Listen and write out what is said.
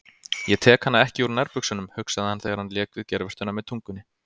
Ég tek hana ekki úr nærbuxunum, hugsaði hann þegar hann lék við geirvörtuna með tungunni.